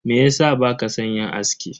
Meyasa baka san yin aski?